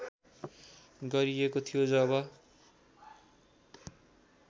गरिएको थियो जब